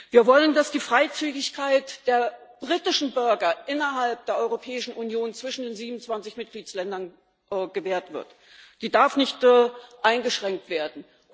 Wir wollen, dass die Freizügigkeit der britischen Bürger innerhalb der Europäischen Union zwischen den 27 Mitgliedstaaten gewahrt bleibt, sie darf nicht eingeschränkt werden.